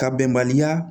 Ka bɛnbaliya